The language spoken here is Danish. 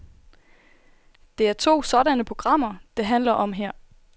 Det er to sådanne programmer, det handler om her.